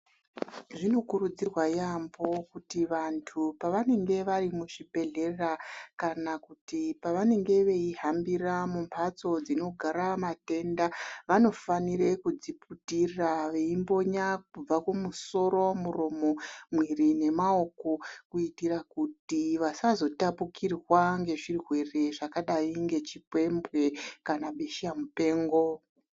Zvinokurudzirwa yaamho kuti vantu pavanenge vari muzvibhehlera kana kuti pavanenge veihambira mumbatso dzinogara matenda vanofanire kudziputira veimbonya kubva kumusoro, muromo , mwiri nemaoko kuitira kuti vasazotapukirwa ngezvirwere zvakadai ngechiphembwe kana besha mupengo.